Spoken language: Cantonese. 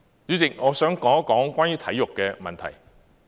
主席，我想說一說關於體育的問題。